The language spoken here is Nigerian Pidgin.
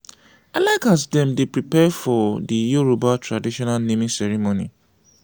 i like as dem dey prepare for di yoruba traditional naming ceremony.